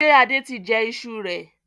Ṣé Adé tí jẹ ìṣù rẹ?